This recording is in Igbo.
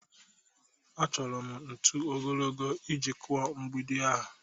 Achọrọ m ntu ogologo iji kụọ mgbidi ahụ